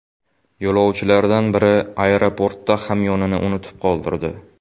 Yo‘lovchilardan biri aeroportda hamyonini unutib qoldirdi.